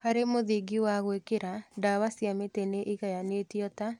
Harĩ mũthingi wa gwĩkĩra, ndawa cia mĩtĩ nĩigayanĩtio ta